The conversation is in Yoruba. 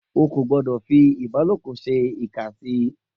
O kò gbọ́dọ̀ fi ìbálòpọ̀ ṣe ìkà sí i